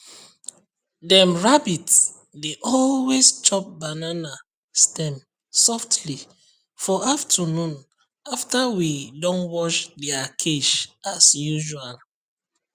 dem rabbit dey always chop banana stem softly for afternoon after we don wash dia cage as usual